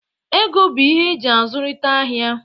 Ego bụ ihe eji azụrịta ahia.